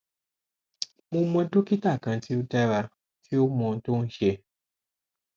mo mọ dokita kan ti o dara ti o mọ ohun ti o n ṣe